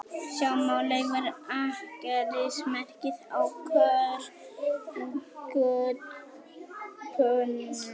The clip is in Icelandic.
Sjá má leifar akkerismerkis á korktöppunum